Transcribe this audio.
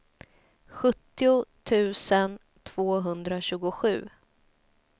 sjuttio tusen tvåhundratjugosju